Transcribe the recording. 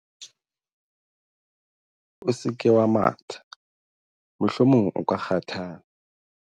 o se ke wa matha mohlomong o ka kgathala